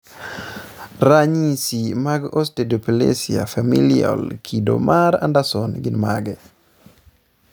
ranyisi mag Osteodysplasia familial kido mar Anderson gin mage?